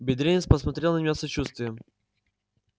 бедренец посмотрел на меня с сочувствием